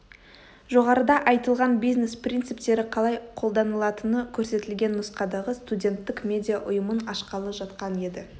жоғарыда айтылған бизнес принциптері қалай қолданылатыны көрсетілген нұсқадағы студенттік медиа ұйымын ашқалы жатқан еді